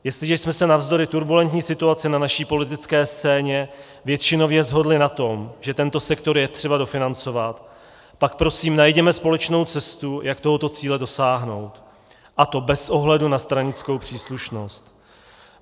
Jestliže jsme se navzdory turbulentní situaci na naší politické scéně většinově shodli na tom, že tento sektor je třeba dofinancovat, pak prosím najděme společnou cestu, jak tohoto cíle dosáhnout, a to bez ohledu na stranickou příslušnost.